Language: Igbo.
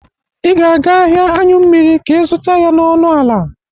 Ị ga-aga ahịa aṅyụ mmiri ka ị zụta ya n'ọnụ ala.